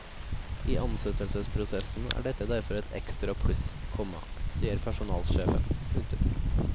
I ansettelsesprosessen er dette derfor et ekstra pluss, komma sier personalsjefen. punktum